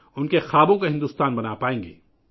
ہم ان کے خوابوں کا بھارت بنانے میں کامیاب ہوں گے